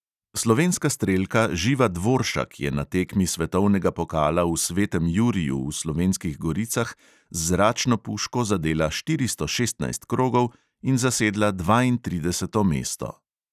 Slovenska strelka živa dvoršak je na tekmi svetovnega pokala v svetem juriju v slovenskih goricah z zračno puško zadela štiristo šestnajst krogov in zasedla dvaintrideseto mesto.